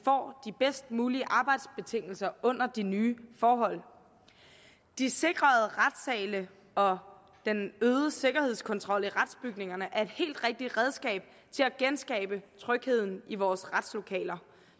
bedst mulige arbejdsbetingelser under de nye forhold de sikrede retssale og den øgede sikkerhedskontrol i retsbygningerne er et helt rigtigt redskab til at genskabe trygheden i vores retslokaler